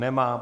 Nemá.